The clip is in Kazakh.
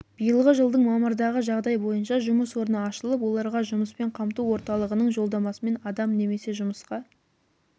биылғы жылдың мамырдағы жағдай бойынша жұмыс орны ашылып оларға жұмыспен қамту орталығының жолдамасымен адам немесе жұмысқа